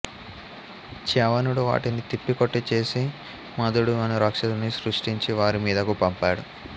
చ్యవనుడు వాటిని తిప్పి కొట్టి చేసి మదుడు అను రాక్షసుడిని సృష్టించి వారి మీదకు పంపాడు